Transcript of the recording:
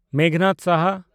ᱢᱮᱜᱷᱱᱟᱫᱽ ᱥᱟᱦᱟ